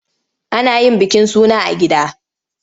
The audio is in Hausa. Ana yin bikin suna a gida.